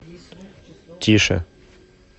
тише